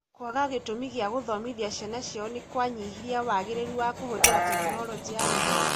Kwaga gĩtũmi gĩa gũthomithia ciana ciao nĩ kwanyihirie wagĩrĩru wa kũhũthĩra Tekinoronjĩ ya Gĩthomo.